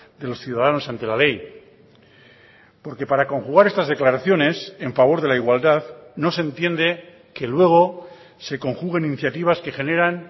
de los ciudadanos ante la ley porque para conjugar estas declaraciones en favor de la igualdad no se entiende que luego se conjuguen iniciativas que generan